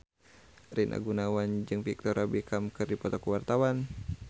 Rina Gunawan jeung Victoria Beckham keur dipoto ku wartawan